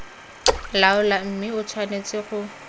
laola mme e tshwanetse go